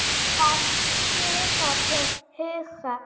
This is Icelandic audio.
Hefur hann taugar til Hauka?